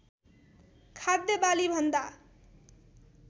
खाद्य बाली भन्दा